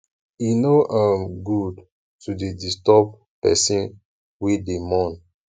e no um dey good to dey disturb pesin wey dey mourn